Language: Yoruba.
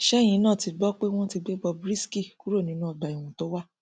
ṣẹyìn náà ti gbọ pé wọn ti gbé bob risky kúrò nínú ọgbà ẹwọn tó wà